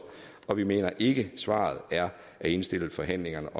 og vi mener ikke at svaret er at indstille forhandlingerne